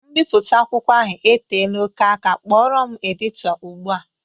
Mbipụte akwụkwọ ahụ e teela oké aka, kpọrọ m edito ụgbụa!